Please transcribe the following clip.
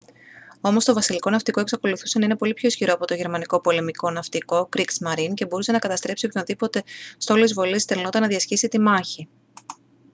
όμως το βασιλικό ναυτικό εξακολουθούσε να είναι πολύ πιο ισχυρό από το γερμανικό πολεμικό ναυτικό «kriegsmarine» και μπορούσε να καταστρέψει οποιονδήποτε στόλο εισβολής στελνόταν να διασχίσει τη μάγχη